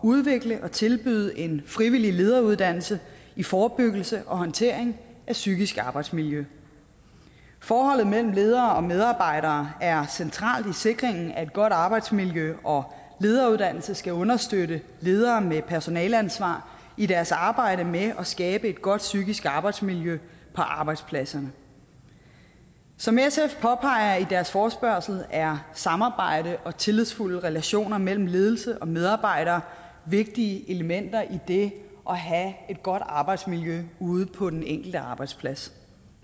udvikle og tilbyde en frivillig lederuddannelse i forebyggelse og håndtering af psykisk arbejdsmiljø forholdet mellem ledere og medarbejdere er centralt i sikringen af et godt arbejdsmiljø og lederuddannelse skal understøtte ledere med personaleansvar i deres arbejde med at skabe et godt psykisk arbejdsmiljø på arbejdspladserne som sf påpeger i deres forespørgsel er samarbejde og tillidsfulde relationer mellem ledelse og medarbejdere vigtige elementer i det at have et godt arbejdsmiljø ude på den enkelte arbejdsplads